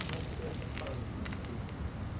Como é que foi essa fase assim? Porquê...